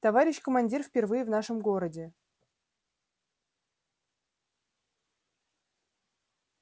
товарищ командир впервые в нашем городе